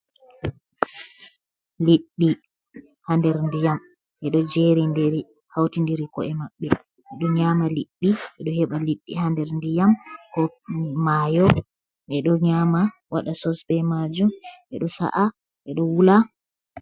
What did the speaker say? Liɗɗi haa nder ndiyam, ɗi ɗo jeerindiri, hawtindiri ko'e maɓɓe. Ɓe ɗo nyaama liɗɗi, ɓe ɗo heɓa liɗɗi haa nder ndiyam ko maayo, ɓe ɗo nyaama waɗa sos be maajum, ɓe ɗo sa’a, ɓe ɗo wula.